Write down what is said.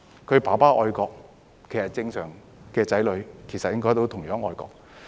若父親愛國，正常的子女也應該同樣愛國。